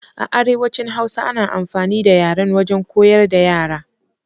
A arewacin hausa ana amfani da yaryen wajen koyar da yara.